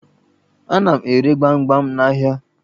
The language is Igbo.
Ana m ere gbamgbam n'ahịa.